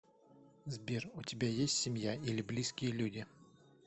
сбер у тебя есть семья или близкие люди